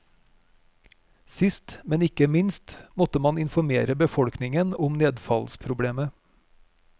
Sist, men ikke minst, måtte man informere befolkningen om nedfallsproblemet.